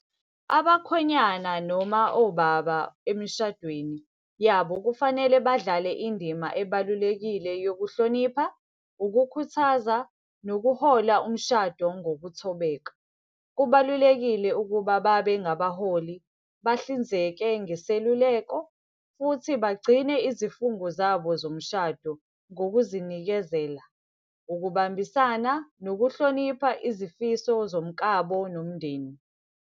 Abakhwenyana noma obaba emshadweni yabo kufanele badlale indima ebalulekile yokuhlonipha, ukukhuthaza, nokuhola umshado ngokuthobela. Kubalulekile ukuba babe ngabaholi, bahlinzeke ngeseluleko, futhi bagcine izifungo zabo zomshado ngokuzinikezela, ukubambisana, nokuhlonipha izifiso zomkabo nomndeni.